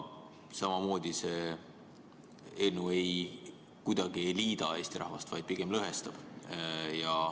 Samamoodi see eelnõu kuidagi ei liida Eesti rahvast, vaid pigem lõhestab.